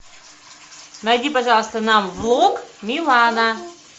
найди пожалуйста нам влог милана